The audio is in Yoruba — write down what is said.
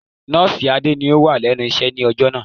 Nọ́ọ̀sì Adé ni ó wà lẹ́nu iṣẹ́ ni alẹ́ ọjọ́ náà.